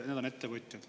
Need on ettevõtjad.